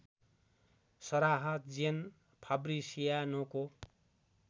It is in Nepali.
सराह जेन फाब्रिसियानोको